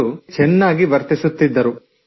ಅವರು ನನ್ನೊಂದಿಗೆ ಚೆನ್ನಾಗಿ ವರ್ತಿಸುತ್ತಿದ್ದರು